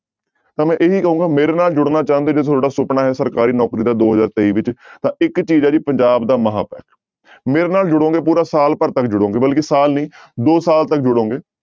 ਤਾਂ ਮੈਂ ਇਹੀ ਕਹਾਂਗਾ ਮੇਰੇ ਨਾਲ ਜੁੜਨਾ ਚਾਹੁੰਦੇ, ਜੇ ਤੁਹਾਡਾ ਸੁਪਨਾ ਹੈ ਸਰਕਾਰੀ ਨੌਕਰੀ ਦਾ ਦੋ ਹਜ਼ਾਰ ਤੇਈ ਵਿੱਚ ਤਾਂ ਇੱਕ ਚੀਜ਼ ਹੈ ਜੀ ਪੰਜਾਬ ਦਾ ਮਹਾਂਪੈਕ, ਮੇਰੇ ਨਾਲ ਜੁੜੋਗੇ ਪੂਰਾ ਸਾਲ ਭਰ ਤੱਕ ਜੁੜੋਗੇ ਬਲਕਿ ਸਾਲ ਨੀ ਦੋ ਸਾਲ ਤੱਕ ਜੁੜੋਗੇ।